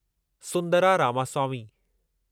Sundara Ramaswamy